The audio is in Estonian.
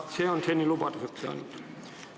See on seni vaid lubaduseks jäänud.